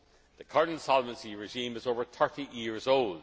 vote. The current Solvency regime is over 30 years